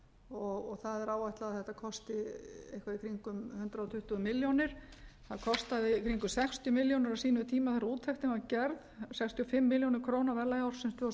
og það er áætlað að þetta kosti eitthvað í kringum hundrað tuttugu milljónir það kostaði í kringum sextíu milljónir á sínum tíma þegar úttektin var gerð sextíu og fimm milljónir króna á verðlagi ársins tvö þúsund og